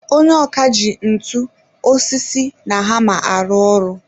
Onye ọkà ji ntu, osisi na hammer arụ ọrụ.